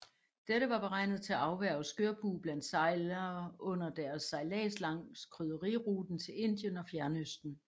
Dette var beregnet til at afværge skørbug blandt sejlere under deres sejlads langs krydderiruten til Indien og Fjernøsten